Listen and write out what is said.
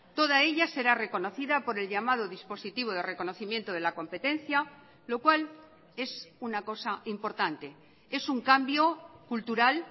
toda ella será reconocida por el llamado dispositivo de reconocimiento de la competencia lo cual es una cosa importante es un cambio cultural